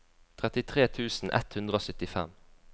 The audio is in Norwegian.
trettitre tusen ett hundre og syttifem